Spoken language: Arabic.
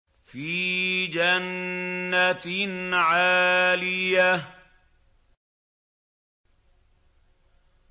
فِي جَنَّةٍ عَالِيَةٍ